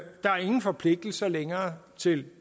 ingen forpligtelser længere til